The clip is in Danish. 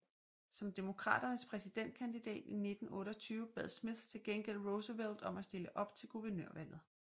Som Demokraternes præsidentkandidat i 1928 bad Smith til gengæld Roosevelt om at stille op til guvernørvalget